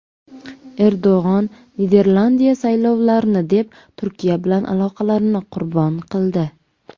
Erdo‘g‘on: Niderlandiya saylovlarni deb Turkiya bilan aloqalarini qurbon qildi.